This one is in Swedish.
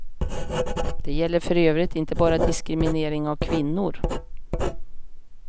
Det gäller för övrigt inte bara diskriminering av kvinnor.